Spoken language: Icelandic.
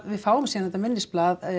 við fáum síðan þetta minnisblað